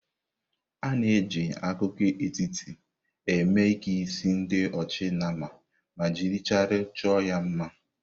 A na-eji akụkụ etiti eme ike isi ndi ochi nama ma jiri chaịlị chọọ ya mma.